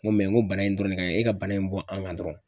N ko n ko bana in dɔrɔn de ka ɲi e ka bana in bɔ an kan dɔrɔn.